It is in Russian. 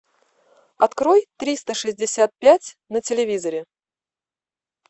открой триста шестьдесят пять на телевизоре